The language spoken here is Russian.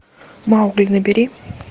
маугли набери